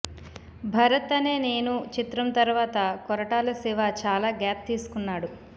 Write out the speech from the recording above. భరత్ అనే నేను చిత్రం తర్వాత కొరటాల శివ చాలా గ్యాప్ తీసుకున్నాడు